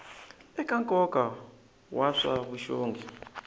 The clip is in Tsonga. eka nkoka wa swa vuxongi